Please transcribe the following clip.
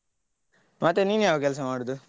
ಮತ್ತೆ ನೀನ್ ಯಾವ ಕೆಲ್ಸ ಮಾಡುದು?